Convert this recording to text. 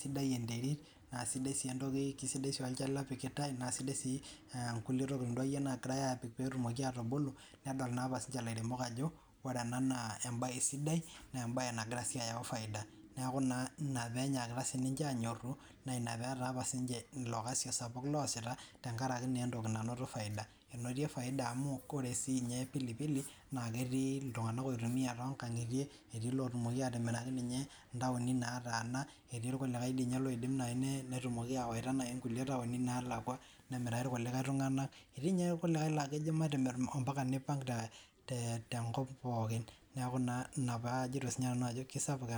sidai enterit naa sidai olchala opikitae naa sidai enkulie tokitin akeyie nagirai apik petumoki atubulu nedol naa apa elairemok Ajo ore ena naa mbae sidai naa mbae nagira ayawu faida neeku enaa pee enyakita sininche anyoru naa enaa pee etaa naa entoki nanotie faida amu ore sininye pilipili naa ketii iltung'ana oitumiai too nkang'itie etii ninye lotumoki atimiraki ntawoni nataana etii irkulikae ltumoki awaita entaoni nalakua nemiraki irkulie tung'ana etii kulikae laa kejo matimir omipanga tenkop pookin neeku enaa sinanu pee ajoito kisapuk